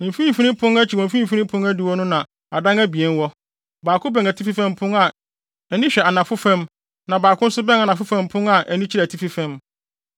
Mfimfini pon no akyi wɔ mfimfini adiwo no, na adan abien wɔ; baako bɛn atifi fam pon a ani hwɛ anafo fam, na baako nso bɛn anafo fam pon a ani kyerɛ atifi fam.